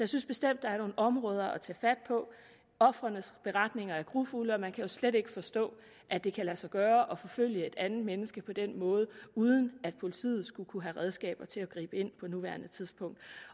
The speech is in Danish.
synes bestemt der er nogle områder at tage fat på ofrenes beretninger er grufulde og man kan jo slet ikke forstå at det kan lade sig gøre at forfølge et andet menneske på den måde uden at politiet skulle kunne have redskaber til at gribe ind på nuværende tidspunkt